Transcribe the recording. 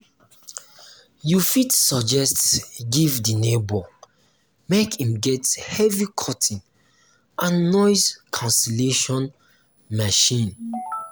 you fit suggest give di neighbor make im get heavy curtain and noise cancellation machine